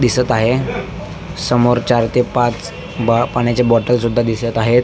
दिसत आहे समोर चार ते पाच गार पाण्याच्या बॉटल सुद्धा दिसत आहेत.